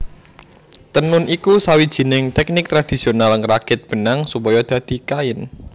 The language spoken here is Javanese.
Tenun iku sawijining tèknik tradisional ngrakit benang supaya dadi kain